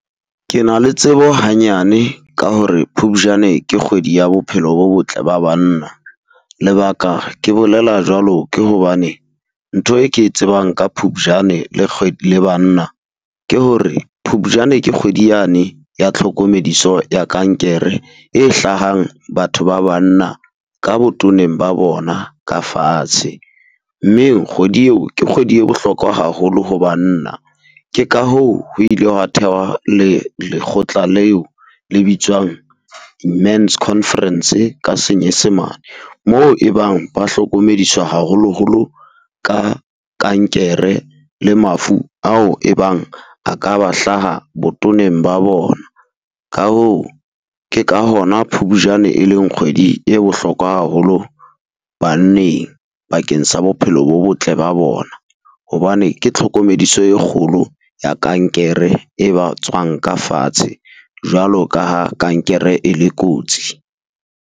Ke na le tsebo hanyane ka hore Phupjane ke kgwedi ya bophelo bo botle ba banna. Lebaka ke bolela jwalo ke hobane ntho e ke tsebang ka Phupjane le le banna ke hore, Phupjane ke kgwedi yane ya tlhokomediso ya kankere e hlahang batho ba banna ka botoneng ba bona ka fatshe, mme kgwedi eo ke kgwedi e bohlokwa haholo ho banna. Ke ka hoo ho ile hwa thehwa le lekgotla leo le bitswang men's conference ka Senyesemane moo e bang ba hlokomediswa haholoholo ka kankere le mafu ao e bang a ka ba hlaha botoneng ba bona. Ka hoo ke ka hona Phupjane e leng kgwedi e bohlokwa haholo banneng bakeng sa bophelo bo botle ba bona, hobane ke tlhokomediso e kgolo ya kankere e ba tswang ka fatshe jwalo ka ha kankere e le kotsi.